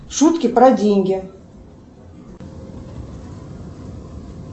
шутки про деньги